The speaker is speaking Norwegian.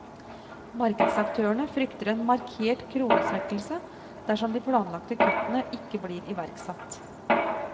Markedsaktørene frykter en markert kronesvekkelse dersom de planlagte kuttene ikke blir iverksatt.